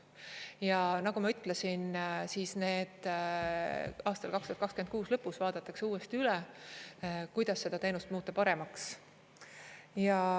Ja nagu ma ütlesin, aastal 2026 lõpus vaadatakse uuesti üle, kuidas seda teenust muuta paremaks.